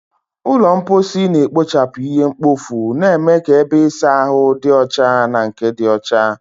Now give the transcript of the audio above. Ụlọ mposi na-ekpochapụ ihe mkpofu, na-eme ka ebe ịsa ahụ dị ọcha na nke dị ọcha.